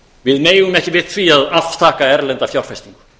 við megum ekki við því að afþakka erlenda fjárfestingu